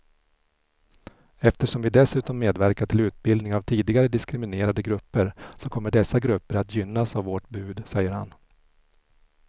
Eftersom vi dessutom medverkar till utbildning av tidigare diskriminerade grupper så kommer dessa grupper att gynnas av vårt bud, säger han.